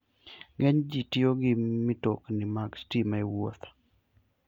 Ng'eny ji tiyo gi mtokni mag stima e wuoth.